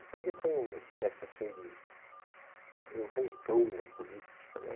Então, ele foi uma espécie de vulcão na política, né?